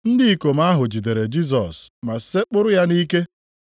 Ndị ikom ahụ jidere Jisọs ma sekpụrụ ya nʼike.